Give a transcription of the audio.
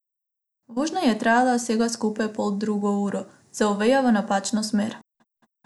Vožnja je trajala vsega skupaj poldrugo uro, za Oveja v napačno smer.